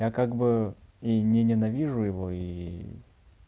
я как бы и не ненавижу его и